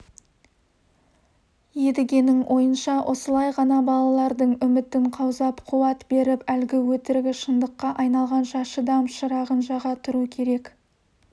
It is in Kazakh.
едігенің ойынша осылай ғана балалардың үмітін қаузап қуат беріп әлгі өтірігі шындыққа айналғанша шыдам шырағын жаға тұру керек